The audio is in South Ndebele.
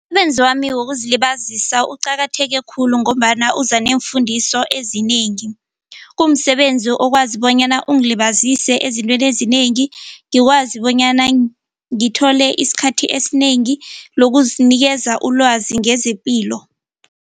Umsebenzi wami wokuzilibazisa uqakatheke khulu ngombana uza neefundiso ezinengi. Kumsebenzi okwazi bonyana ungilibazise ezitweni ezinengi ngikwazi bonyana ngithole isikhathi esinengi lokuzinikeza ulwazi ngezepilo.